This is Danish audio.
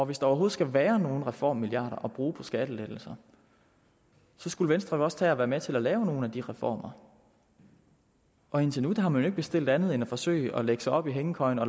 hvis der overhovedet skal være nogen reformmilliarder at bruge på skattelettelser skulle venstre jo også tage at være med til at lave nogle af de reformer og indtil nu har man jo ikke bestilt andet end at forsøge at lægge sig op i hængekøjen og